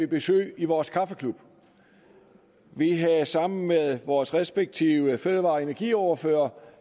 besøg i vores kaffeklub vi havde sammen med vores respektive fødevare og energiordførere